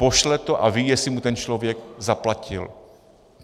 Pošle to a ví, jestli mu ten člověk zaplatil.